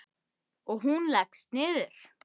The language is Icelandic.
Og hún leggst niður.